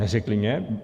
Neřekli mně.